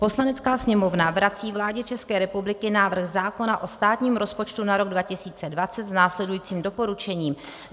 "Poslanecká sněmovna vrací vládě České republiky návrh zákona o státním rozpočtu na rok 2020 s následujícím doporučením: